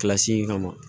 Kilasi in kama